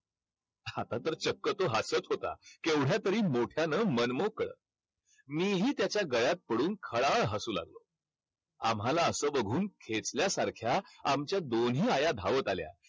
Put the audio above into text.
आता तर चक्क तो हातच होता. केवढ्यातरी मोठ्यानं मनमोकळं मीही त्याच्या गळ्यात पडून खळाळ हसू लागलो. आम्हाला असं बघून खेचल्या सारख्या आमच्या दोन्ही आया धावत आल्या.